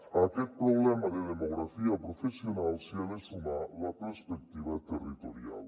a aquest problema de demografia professional s’hi ha de sumar la perspectiva territorial